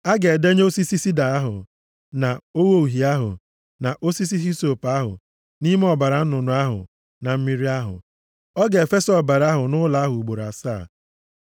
Ọ ga-edenye osisi sida ahụ, na ogho uhie ahụ, na osisi hisọp ahụ, nʼime ọbara nnụnụ ahụ na mmiri ahụ. Ọ ga-efesa ọbara ahụ nʼụlọ ahụ ugboro asaa.